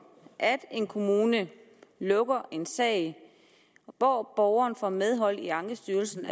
at en kommune lukker en sag hvor borgeren får medhold i ankestyrelsen